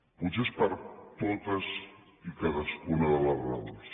potser és per totes i cadascuna de les raons